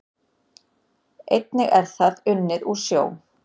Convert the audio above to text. Einnig er það unnið úr sjó